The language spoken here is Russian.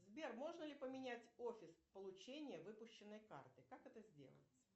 сбер можно ли поменять офис получения выпущенной карты как это сделать